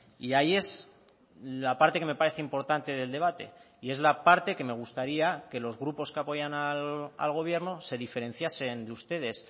y ahí es la parte que me parece importante del debate y es la parte que me gustaría que los grupos que apoyan al gobierno se diferenciasen de ustedes